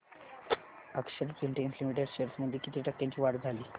अक्षर Spintex limited shares मध्ये किती टक्क्यांची वाढ झाली